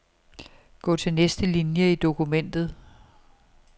Gå til næste linie i dokumentet.